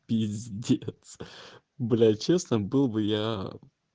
пиздец бля честно был бы я